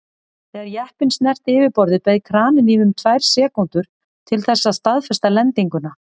Þegar jeppinn snerti yfirborðið beið kraninn í um tvær sekúndur til þess að staðfesta lendinguna.